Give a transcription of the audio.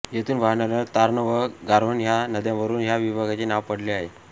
येथून वाहणाऱ्या तार्न व गारोन ह्या नद्यांवरून ह्या विभागाचे नाव पडले आहे